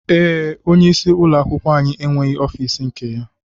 Ee, onye isi ụlọ akwụkwọ anyị enweghị ọfiisi nke ya